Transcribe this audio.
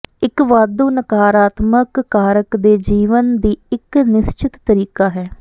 ਇੱਕ ਵਾਧੂ ਨਕਾਰਾਤਮਕ ਕਾਰਕ ਦੇ ਜੀਵਨ ਦੀ ਇੱਕ ਨਿਸ਼ਚਿਤ ਤਰੀਕਾ ਹੈ